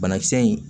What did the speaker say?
Banakisɛ in